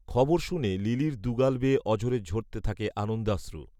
খবর শুনে লিলির দুগাল বেয়ে অঝোরে ঝরতে থাকে আনন্দাশ্রু